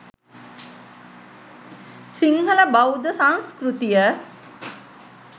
සිංහල බෞද්ධ සංස්කෘතිය